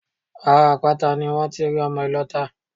Ara àpáta ni wón ti rí ọmọ ìlọta